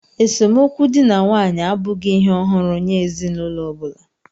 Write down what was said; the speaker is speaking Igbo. Esemokwu dị na nwaanyị abụghị ihe ọhụrụ nye ezinụlọ ọ bụla